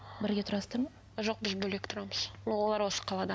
бірге тұрасыздар ма жоқ біз бөлек тұрамыз но олар осы қалада